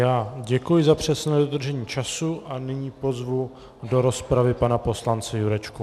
Já děkuji za přesné dodržení času a nyní pozvu do rozpravy pana poslance Jurečku.